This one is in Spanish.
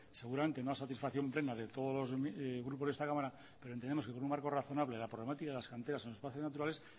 seguramente no a satisfacción plena de todos los grupos de esta cámara pero entendemos que con un marco razonable la problemática de las canteras en los espacios naturales